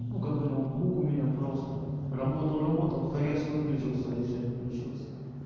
ну такой ноутбук у меня просто работал работал хрясь выключился и все не включился